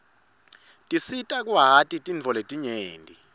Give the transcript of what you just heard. tisita kwati tintfo letinyenti